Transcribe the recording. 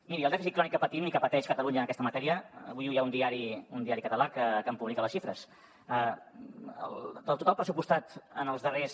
miri el dèficit crònic que patim i que pateix catalunya en aquesta matèria avui hi ha un diari català que en publica les xifres del total pressupostat en els darrers